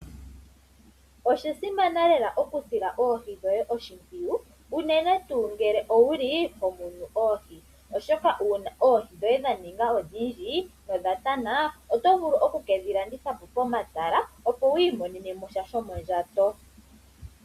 Osha simana lela oku sila oohi dhoye oshimpwiyu unene tuu ngele owu li ho munu oohi, oshoka uuna oohi dhoye dha ninga odhindji no dha tana oto vulu oku ke dhi landitha po pomatala opo wu imonene mo sha shomondjato.